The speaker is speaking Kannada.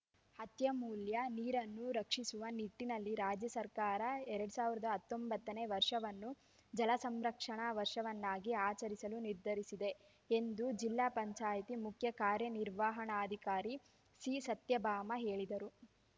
ಅತ್ಯಮೂಲ್ಯ ನೀರನ್ನು ರಕ್ಷಿಸುವ ನಿಟ್ಟಿನಲ್ಲಿ ರಾಜ್ಯ ಸರ್ಕಾರ ಎರಡ್ ಸಾವಿರದ ಹತ್ತೊಂಬತ್ತನೇ ವರ್ಷವನ್ನು ಜಲ ಸಂರಕ್ಷಣಾ ವರ್ಷವನ್ನಾಗಿ ಆಚರಿಸಲು ನಿರ್ಧರಿಸಿದೆ ಎಂದು ಜಿಲ್ಲಾ ಪಂಚಾಯ್ತಿ ಮುಖ್ಯ ಕಾರ್ಯನಿರ್ವಹಣಾಧಿಕಾರಿ ಸಿಸತ್ಯಭಾಮ ಹೇಳಿದರು